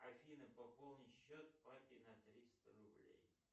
афина пополни счет папе на триста рублей